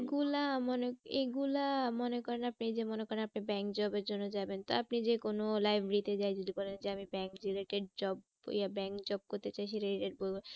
এগুলা মনে, এগুলা মনে করেন আপনি এই যে মনে করেন আপনি bank এর জন্য যাবেন তা আপনি যে কোনো library যেয়ে যদি বলেন যে আমি bank related job ইয়ে bank job করতে চাইছি